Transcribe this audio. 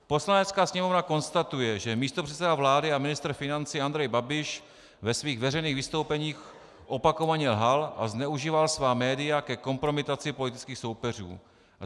"Poslanecká sněmovna konstatuje, že místopředseda vlády a ministr financí Andrej Babiš ve svých veřejných vystoupeních opakovaně lhal a zneužíval svá média ke kompromitaci politických soupeřů."